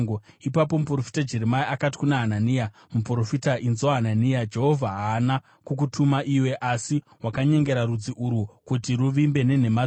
Ipapo muprofita Jeremia akati kuna Hanania muprofita, “Inzwa, Hanania! Jehovha haana kukutuma iwe, asi wakanyengera rudzi urwu kuti ruvimbe nenhema dzako.